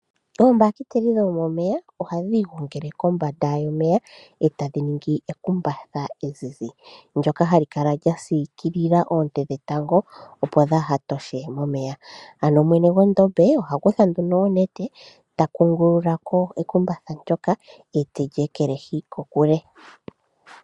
Oombahiteli dhomomeya ohadhi igongele kombanda yomeya, e tadhi ningi ekumbatha ezizi, ndyoka hali kala lya siikilila oonte dhetango opo dhaahatoshe momeya. Ano mwene gwondombe oha kutha nduno onete, takungululako ekumbatha ndyoka, e teli ekelehi.